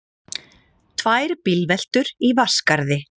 Annars er ekki til neins að hlakka að komi betri tíð.